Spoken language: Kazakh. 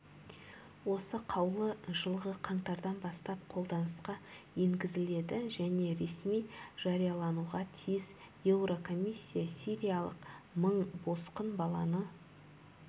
осы қаулы жылғы қаңтардан бастап қолданысқа енгізіледі және ресми жариялануға тиіс еурокомиссия сириялық мың босқын баланы